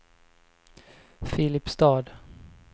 Filipstad